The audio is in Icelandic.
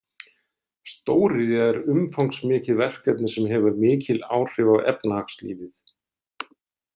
Stóriðja er umfangsmikið verkefni sem hefur mikil áhrif á efnahagslífið.